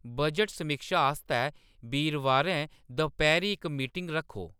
budget समीक्षा आस्तै बीरबारें दपैह्‌‌रीं इक मीटिंग रक्खो